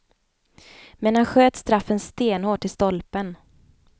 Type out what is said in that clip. Men han sköt straffen stenhårt i stolpen.